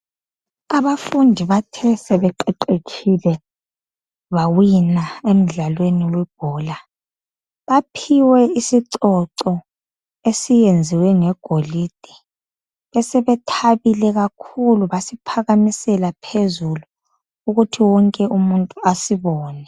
Abafundi bathe sebeqeqetshile bawina emdlalweni webhola baphiwe isicoco esiyenziwe ngegolide besebethabile kakhulu basiphakamisela phezulu ukuthi wonke umuntu asibone.